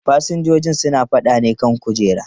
Fasinjojin suna faɗa ne kan kujera.